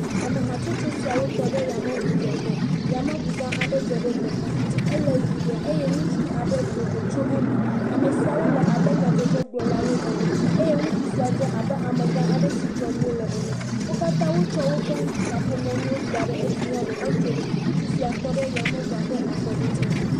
Ame hatsotso siawo tɔ ɖe yameŋudzeƒe. Yameŋu gã aɖe dze teƒea, Ele ʋɛ̃ ɖe eye ŋutsu aɖe do go tso eme. Ame siawo le abe nyadzɔdzɔgblɔlawoe ene eye ŋutsu sia dze abe ame gã aɖe si dzɔm wonɔ la ene. Wo katã wotsɔ woƒe kaƒomɔ nuwo da edzi henɔ etsom. Ŋutsu sia tɔ ɖe yameŋua ƒe afɔɖoƒe.